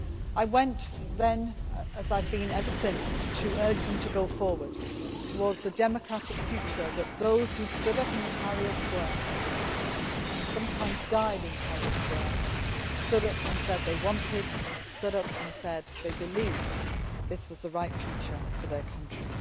I went then, as I have been ever since, to urge them to go forward towards the democratic future that those who stood up in Tahrir Square and sometimes died in Tahrir Square stood up and said they wanted, stood up and said they believed that this was the right future for their country.